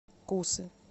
кусы